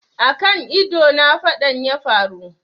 A kan ido na faɗan yafaru